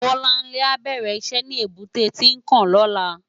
Bolanle á bèrè iṣè ni ébùté Tinkán lòlá